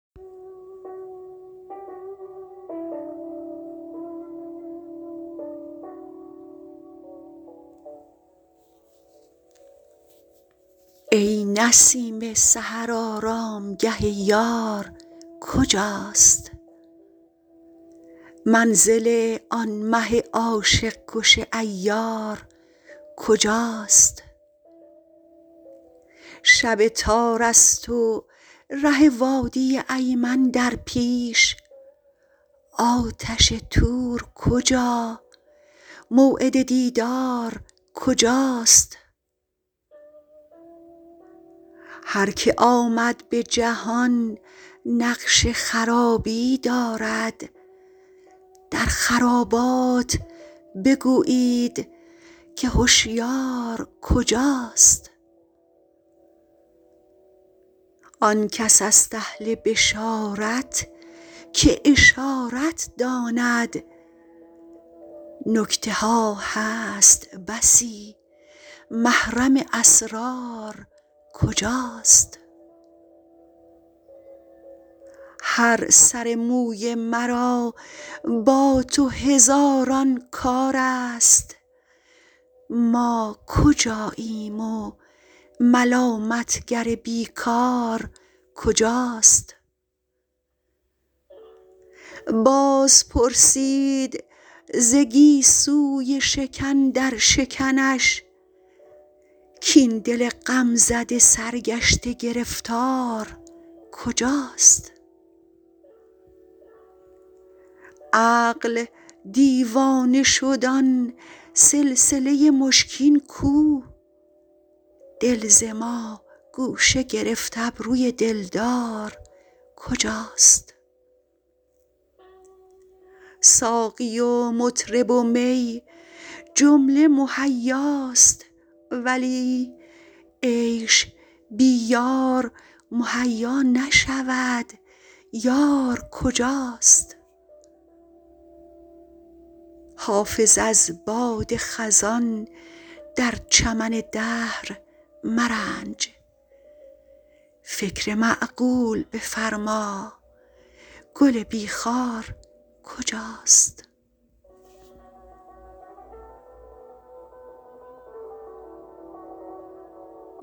ای نسیم سحر آرامگه یار کجاست منزل آن مه عاشق کش عیار کجاست شب تار است و ره وادی ایمن در پیش آتش طور کجا موعد دیدار کجاست هر که آمد به جهان نقش خرابی دارد در خرابات بگویید که هشیار کجاست آن کس است اهل بشارت که اشارت داند نکته ها هست بسی محرم اسرار کجاست هر سر موی مرا با تو هزاران کار است ما کجاییم و ملامت گر بی کار کجاست باز پرسید ز گیسوی شکن در شکنش کاین دل غم زده سرگشته گرفتار کجاست عقل دیوانه شد آن سلسله مشکین کو دل ز ما گوشه گرفت ابروی دلدار کجاست ساقی و مطرب و می جمله مهیاست ولی عیش بی یار مهیا نشود یار کجاست حافظ از باد خزان در چمن دهر مرنج فکر معقول بفرما گل بی خار کجاست